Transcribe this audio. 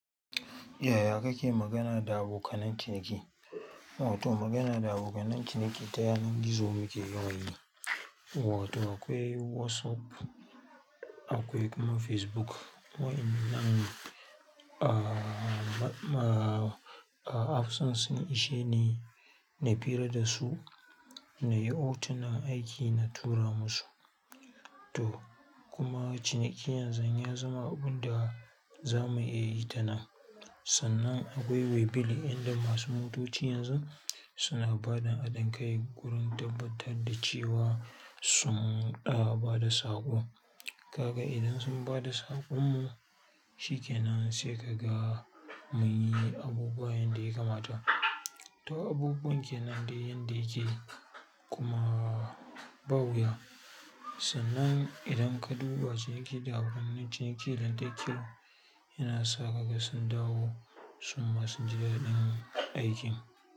Yaya kake magana da abokanan ciniki, wato magana da abokanan ciniki ta yanar gizo muke yawan yi, wato akwai WhatsApp, akwai kuma Facebook. Wa'innan, aa, apps ɗin sun ishe ni, na pira da su, na yi hotunan aiki na tura musu. To kuma ciniki yanzun ya zama abun da za mu iya yi ta nan. Sannan akwai waybill inda masu motoci yanzu suna ba da haɗin kai wurin tabbatar da cewa sun ba da saƙo. Kaga idan sun ba da saƙon mu, shi ke nan sai ka ga mun yi abubuwa yanda ya kamata. To abubuwan kenan dai yanda ya ke, kuma ba wuya. Sannan idan ka duba ciniki da abokanan ciniki da kyau yana sa kaga sun dawo su ma sun ji daɗin aikin.